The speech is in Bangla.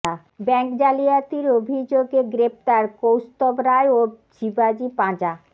ব্যাঙ্ক জালিয়াতির অভিযোগে গ্রেফতার কৌস্তুভ রায় ও শিবাজি পাঁজা